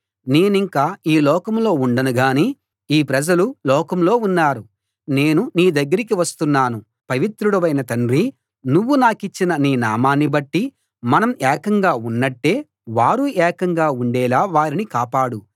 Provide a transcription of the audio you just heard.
నేనింక ఈ లోకంలో ఉండను గాని ఈ ప్రజలు లోకంలో ఉన్నారు నేను నీ దగ్గరికి వస్తున్నాను పవిత్రుడవైన తండ్రీ నువ్వు నాకిచ్చిన నీ నామాన్ని బట్టి మనం ఏకంగా ఉన్నట్టే వారూ ఏకంగా ఉండేలా వారిని కాపాడు